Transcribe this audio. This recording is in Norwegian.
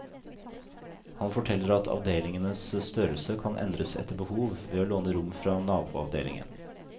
Han forteller at avdelingenes størrelse kan endres etter behov, ved å låne rom fra naboavdelingen.